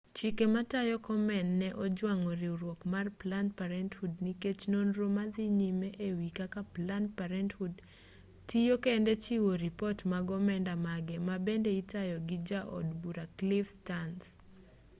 chike matayo komen ne ojwang'o riwruok mar planned parenthood nikech nonro ma dhi nyime e wi kaka planned parenthood tiyo kendo chiwo ripot mag omenda mage ma bende itayo gi ja od bura cliff stearns